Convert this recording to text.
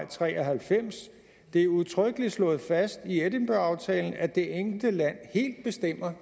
tre og halvfems sagde det er udtrykkeligt slået fast i edinburghaftalen at det enkelte land helt bestemmer